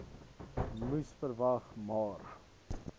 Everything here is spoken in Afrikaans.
moes verwag maar